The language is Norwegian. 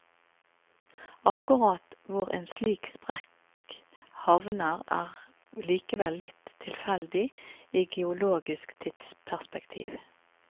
Akkurat hvor en slik sprekk havner er likevel litt tifeldig, i geologisk tidsperspektiv.